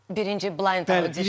Birinci blind audition.